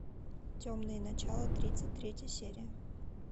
темные начала тридцать третья серия